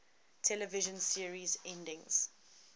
television series endings